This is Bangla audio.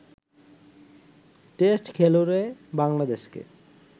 টেস্ট খেলুড়ে বাংলাদেশকে